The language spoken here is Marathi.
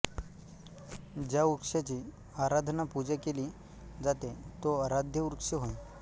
ज्या वृक्षाची आराधना पूजा केली जाते तो आराध्यवृक्ष होय